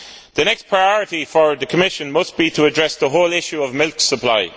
The next priority for the Commission must be to address the whole issue of milk supply.